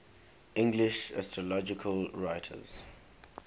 english astrological writers